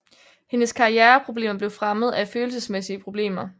Hendes karriereproblemer blev fremmet af følelsesmæssige problemer